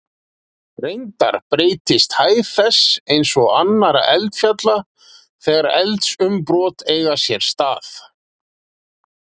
Reyndar breytist hæð þess, eins og annarra eldfjalla, þegar eldsumbrot eiga sér stað.